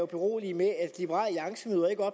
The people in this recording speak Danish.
berolige med